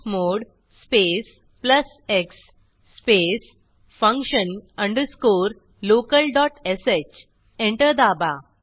chmod space plus x space function underscore local dot sh enter दाबा